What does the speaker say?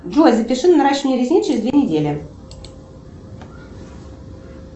джой запиши на наращивание ресниц через две недели